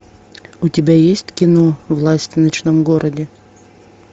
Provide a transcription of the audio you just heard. у тебя есть кино власть в ночном городе